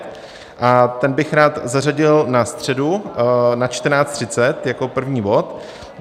Ten bych rád zařadil na středu na 14.30 jako první bod.